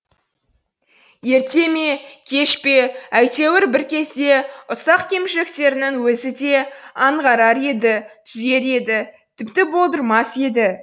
ерте ме кеш пе әйтеуір бір кезде ұсақ кемшіліктерін өзі де аңғарар еді түзер еді тіпті болдырмас еді